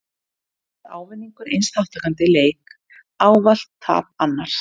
Þá er ávinningur eins þátttakanda í leik ávallt tap annars.